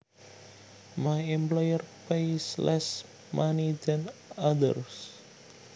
My employer pays less money than other